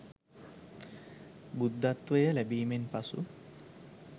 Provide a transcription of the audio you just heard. බුද්ධත්වය ලැබීමෙන් පසු